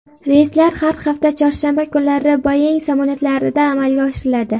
Reyslar har hafta chorshanba kunlari Boeing samolyotlarida amalga oshiriladi.